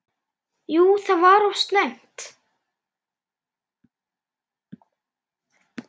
Jú það var of snemmt.